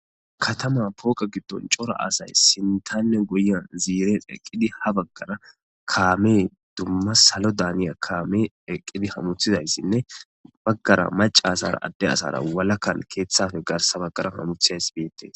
Katama pooqa giddon cora asay sintanne goyan ziiren eqqidi ha baggara kaame dumma salo daaniya kaame eqqidi hamuthizayssinne baggara maca asara adde asara walakkan keeththafe garsabagara hamuthiyays beettes.